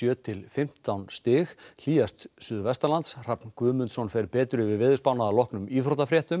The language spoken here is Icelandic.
til fimmtán stig hlýjast suðvestanlands Hrafn Guðmundsson fer betur yfir veðurspána að loknum íþróttafréttum